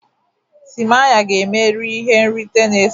timaya ga-emeri ihe nrite na-esote